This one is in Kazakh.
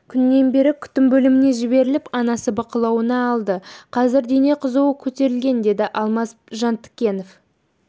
күннен бері күтім бөліміне жіберіліп анасы бақылауына алды қазір дене қызуы көтерілген деді алмаз жантікенов